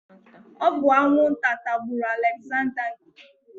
Ọ bụ anwụnta tagburu Alegzanda nke Ukwuu.